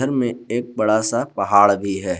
दृश्य में एक बड़ा सा पहाड़ भी है।